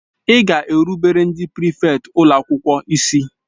Ị ga-erubere ndị prịfèkt ụlọ akwụkwọ isi!